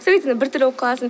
бір түрлі болып қаласың